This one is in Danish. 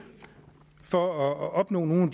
for at opnå nogle